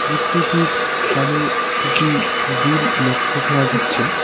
মূর্তিটির কানে দুটি দুল লক্ষ্য করা যাচ্ছে।